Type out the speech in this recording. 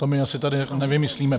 To my asi tady nevymyslíme.